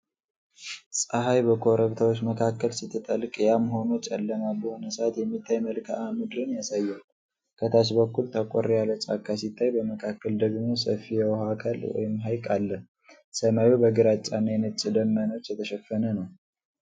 ፀሐይ በኮረብታዎች መካከል ስትጠልቅ ያም ሆኖ ጨለማ በሆነ ሰዓት የሚታይ መልክዓ ምድርን ያሳያል። ከታች በኩል ጠቆር ያለ ጫካ ሲታይ፤ በመካከል ደግሞ ሰፊ የውሃ አካል (ሐይቅ) አለ። ሰማዩ በግራጫ እና ነጭ ደመናዎች የተሸፈነ ነው።